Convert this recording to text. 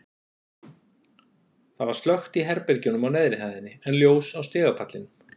Það var slökkt í herbergjunum á neðri hæðinni, en ljós á stigapallinum.